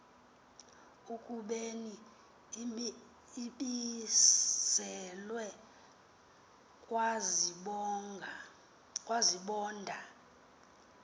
ekubeni ibizelwe kwasibonda